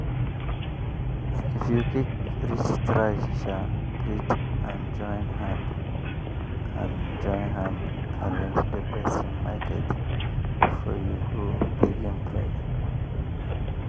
if you quick reach try um greet and join hand and join hand arrange the persin market before you begin price. um